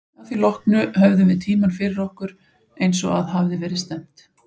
Að því loknu höfðum við tímann fyrir okkur, eins og að hafði verið stefnt.